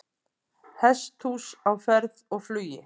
Hesthús á ferð og flugi